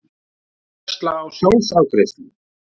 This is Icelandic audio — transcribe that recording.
Áhersla á sjálfsafgreiðslu